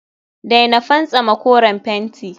daina fantsama koren fenti